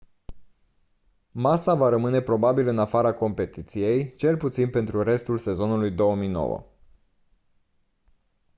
massa va rămâne probabil în afara competiției cel puțin pentru restul sezonului 2009